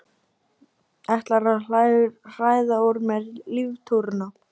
Ætlarðu að hræða úr mér líftóruna?